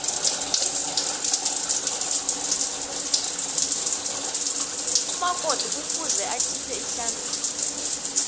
umakoti kufuze akhiphe ihlambiso